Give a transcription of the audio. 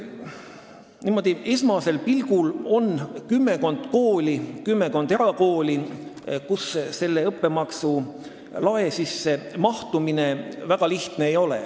Niimoodi esmasel pilgul on näha kümmekond erakooli, kus selle õppemaksu lae arvesse võtmine väga lihtne ei ole.